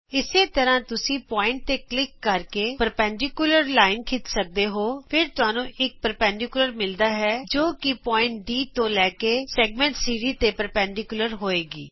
ਇਸੇ ਤਰ੍ਹਾਂ ਤੁਸੀਂ ਬਿੰਦੂ ਤੇ ਕਲਿਕ ਕਰ ਕੇ ਲੰਬ ਰੇਖਾ ਖਿੱਚ ਸਕਦੇ ਹੋਫਿਰ ਤੁਹਾਨੂੰ ਇਕ ਲੰਬ ਰੇਖਾ ਮਿਲਦੀ ਹੈ ਜਿਹੜੀ ਕਿ ਬਿੰਦੂ ਡੀ ਤੋਂ ਲੈ ਕੇ ਵਰਤ ਖੰਡ ਸੀਡੀ ਤੇ ਲੰਬਵਤ ਹੋਏਗੀ